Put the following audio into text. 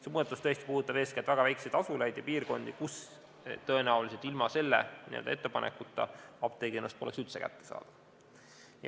See muudatus tõesti puudutab eeskätt väga väikeseid asulaid ja piirkondi, kus tõenäoliselt ilma selle ettepanekuta poleks apteegiteenus üldse kättesaadav.